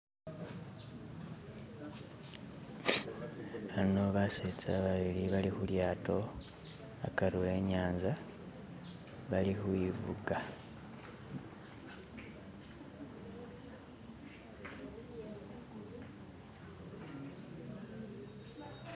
Ano basetsa babili bali khulyato akari wenyanza bali ukhwifuga.